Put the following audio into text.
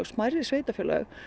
smærri sveitarfélög